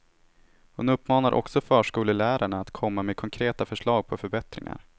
Han uppmanar också förskolelärarna att komma med konkreta förslag på förbättringar.